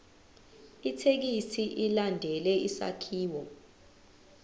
ithekisthi ilandele isakhiwo